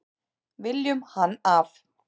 Viljum hann af.